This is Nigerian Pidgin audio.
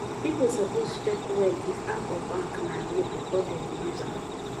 people suppose check well if app or bank na real before dem use am